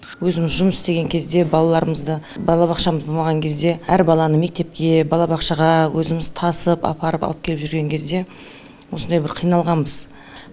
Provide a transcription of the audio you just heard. өзіміз жұмыс істеген кезде балаларымызды балабақша болмаған кезде әр баланы мектепке балабақшаға өзіміз тасып апарып алып келіп жүрген кезде осындай бір қиналғанбыз